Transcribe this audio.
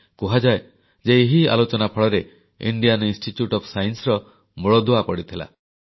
କୁହାଯାଏ ଯେ ଏହି ଆଲୋଚନା ଫଳରେ ଇଣ୍ଡିଆନ୍ ଇନଷ୍ଟିଚ୍ୟୁଟ୍ ଓଏଫ୍ Scienceର ମୂଳଦୁଆ ପଡ଼ିଥିଲା